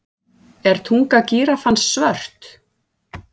Er tunga gíraffans svört?